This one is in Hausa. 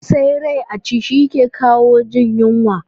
Sa rai a ci, shi ke lawo jin yunwa